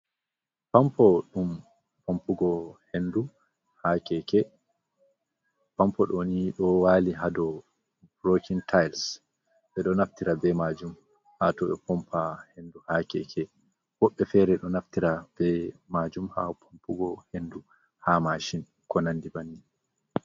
Pampo ɗum pampugo henndu has Keele. Pampo ɗo nii ɗon waali ha dow "broken tiles". Ɓe ɗo naftira bee maajum ha to ɓe pompa henndu ha keke. Woɓɓe feere ɗo naftira bee maajum ha pampugo henndu ha maacin ko nanndi banni.